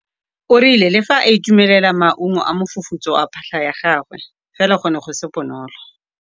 O rile le fa a itumelela maungo a mofufutso wa phatlha ya gagwe fela go ne go se bonolo.